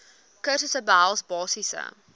kursusse behels basiese